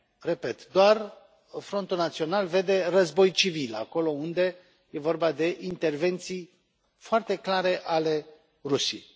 Repet, doar Frontul Național vede război civil acolo unde e vorba de intervenții foarte clare ale Rusiei.